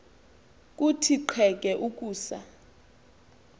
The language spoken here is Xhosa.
kuthi qheke ukusa